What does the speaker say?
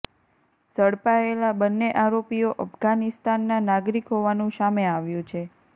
ઝડપાયેલા બંને આરોપીઓ અફઘાનિસ્તાનના નાગરિક હોવાનું સામે આવ્યું છે